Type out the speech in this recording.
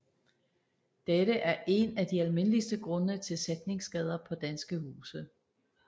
Dette er én af de almindeligste grunde til sætningsskader på danske huse